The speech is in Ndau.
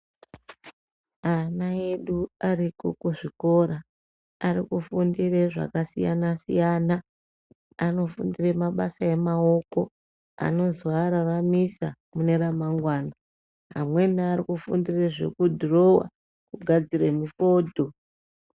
Ana edu ariko kuzvikora ari kufundire zvakasiyana siyana. Anofundire mabasa emaoko anozoararamisa mune ramangwana Amweni ari kufundire zvekudhirowa, kugadzire mufodho.